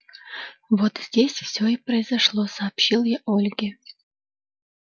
вот здесь всё и произошло сообщил я ольге